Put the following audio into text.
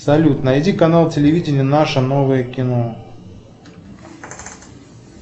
салют найди канал телевидения наше новое кино